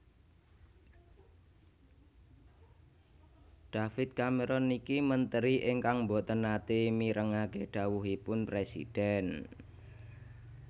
David Cameron niki menteri ingkang mboten nate mirengake dhawuhipun presiden